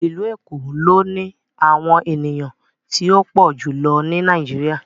Ilu Eko lo ni awọn eniyan ti o pọ julọ ni Nàìjíríà